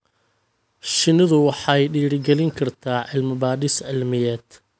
Shinnidu waxay dhiirigelin kartaa cilmi-baadhis cilmiyeed.